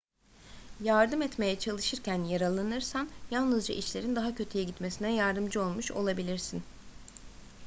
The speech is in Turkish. yardım etmeye çalışırken yaralanırsan yalnızca işlerin daha kötüye gitmesine yardımcı olmuş olabilirsin